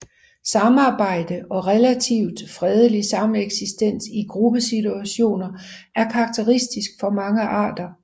Samarbejde og relativt fredelig sameksistens i gruppesituationer er karakteristisk for mange arter